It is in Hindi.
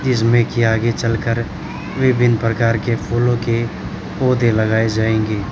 जिसमें कि आगे चल कर विभिन्न प्रकार के फूलों के पौधे लगाए जाएंगे।